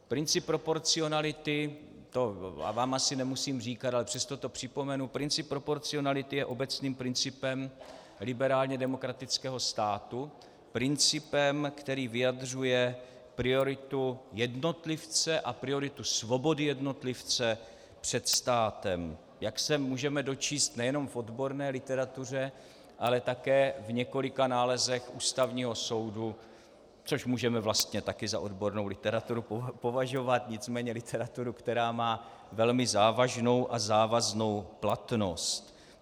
Princip proporcionality, to vám asi nemusím říkat, ale přesto to připomenu, princip proporcionality je obecným principem liberálně demokratického státu, principem, který vyjadřuje prioritu jednotlivce a prioritu svobody jednotlivce před státem, jak se můžeme dočíst nejenom v odborné literatuře, ale také v několika nálezech Ústavního soudu, což můžeme vlastně taky za odbornou literaturu považovat, nicméně literaturu, která má velmi závažnou a závaznou platnost.